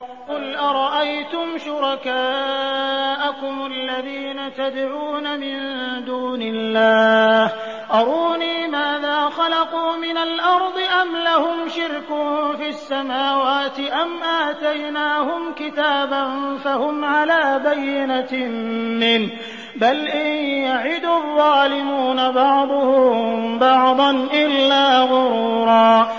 قُلْ أَرَأَيْتُمْ شُرَكَاءَكُمُ الَّذِينَ تَدْعُونَ مِن دُونِ اللَّهِ أَرُونِي مَاذَا خَلَقُوا مِنَ الْأَرْضِ أَمْ لَهُمْ شِرْكٌ فِي السَّمَاوَاتِ أَمْ آتَيْنَاهُمْ كِتَابًا فَهُمْ عَلَىٰ بَيِّنَتٍ مِّنْهُ ۚ بَلْ إِن يَعِدُ الظَّالِمُونَ بَعْضُهُم بَعْضًا إِلَّا غُرُورًا